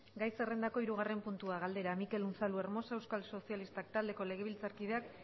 gai zerrendako hirugarren puntua galdera mikel unzalu hermosa euskal sozialistak taldeko legebiltzarkideak